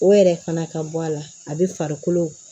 O yɛrɛ fana ka bɔ a la a bɛ farikolo